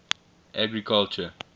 agriculture